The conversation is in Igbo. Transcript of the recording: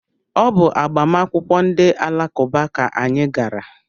Ọ bụ agbamakwụkwọ ndị alakụba ka anyị gara.